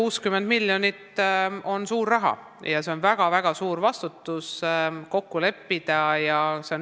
160 miljonit on suur raha ja see kokkuleppimine tähendab väga-väga suurt vastutust.